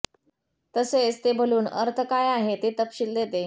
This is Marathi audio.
तसेच ते बलून अर्थ काय आहे ते तपशील देते